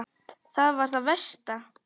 Það var það versta.